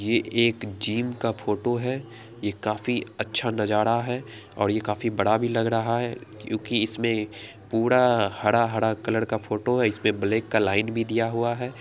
ये एक जिम का फोटो है। ये काफी अच्छा नजारा है और यह काफी बड़ा भी लग रहा है क्योंकि इसमें पूरा हरा-हरा कलर का फोटो है। इसपे ब्लैक का लाइन भी दिया हुआ है।